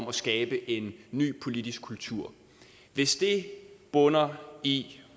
at skabe en ny politisk kultur hvis det bunder i